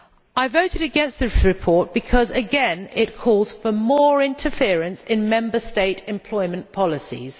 I voted against this report because, again, it calls for more interference in Member States' employment policies.